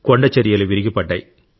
కొండచరియలు విరిగిపడ్డాయి